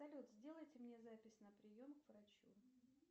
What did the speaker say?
салют сделайте мне запись на прием к врачу